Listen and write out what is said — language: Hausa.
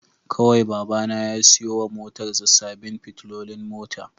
Kawai Babana ya siyo wa motarsa ​​sabbin fitilolin mota